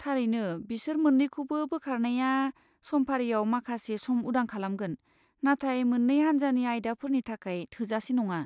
थारैनो, बिसोर मोन्नैखौबो बोखारनाया समफारिआव माखासे सम उदां खालामगोन, नाथाय मोन्नै हान्जानि आयदाफोरनि थाखाय थोजासे नङा।